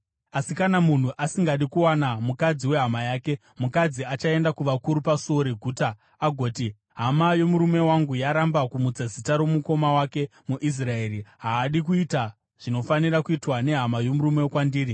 Asi, kana munhu asingadi kuwana mukadzi wehama yake, mukadzi achaenda kuvakuru pasuo reguta agoti, “Hama yomurume wangu yaramba kumutsa zita romukoma wake muIsraeri. Haadi kuita zvinofanira kuitwa nehama yomurume kwandiri.”